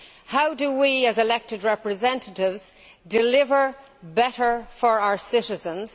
How do we, as elected representatives, deliver better for our citizens?